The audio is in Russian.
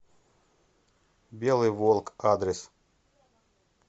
белый волк адрес